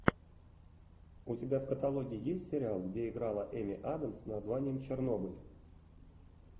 у тебя в каталоге есть сериал где играла эми адамс с названием чернобыль